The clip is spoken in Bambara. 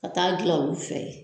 ka taa dilan olu fɛ yen